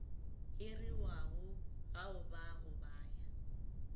hiriwago gaoba go ba ya